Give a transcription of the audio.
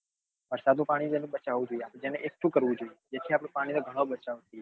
વરસાદ નું પાણી બચાવવું જોઈએ જેને એકઠું કરવું જોઈએ જેથી આપડે પાણી નો ગણો બચાવ થઇ જાય